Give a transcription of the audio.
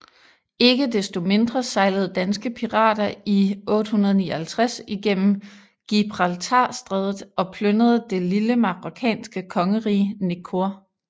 Ikke desto mindre sejlede danske pirater i 859 igennem Gibraltarstrædet og plyndrede det lille marokkanske kongerige Nekor